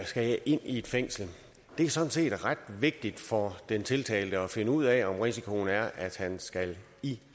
skal jeg ind i et fængsel det er sådan set ret vigtigt for den tiltalte at finde ud af om risikoen er at han skal i